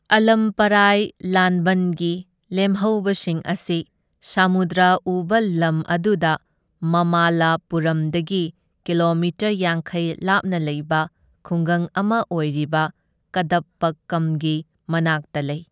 ꯑꯥꯂꯝꯄꯥꯔꯥꯏ ꯂꯥꯟꯕꯟꯒꯤ ꯂꯦꯝꯍꯧꯕꯁꯤꯡ ꯑꯁꯤ ꯁꯃꯨꯗ꯭ꯔ ꯎꯕ ꯂꯝ ꯑꯗꯨꯗ ꯃꯃꯥꯜꯂꯄꯨꯔꯝꯗꯒꯤ ꯀꯤꯂꯣꯃꯤꯇꯔ ꯌꯥꯡꯈꯩ ꯂꯥꯞꯅ ꯂꯩꯕ ꯈꯨꯡꯒꯪ ꯑꯃ ꯑꯣꯏꯔꯤꯕ ꯀꯗꯞꯄꯛꯀꯝꯒꯤ ꯃꯅꯥꯛꯇ ꯂꯩ꯫